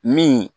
Min